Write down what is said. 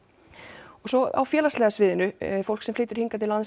og svo á félagslega sviðinu fólk sem flytur hingað til lands